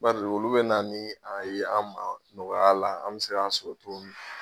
Bari olu bɛ na ni a ye an ma nɔgɔya la an bɛ se k'a sɔrɔ cogo min